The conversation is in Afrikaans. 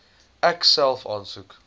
ek self aansoek